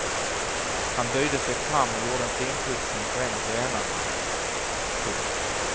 Han böjde sig fram och gjorde en finputsning på en av grenarna. punkt